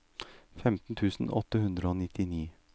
femten tusen åtte hundre og nittini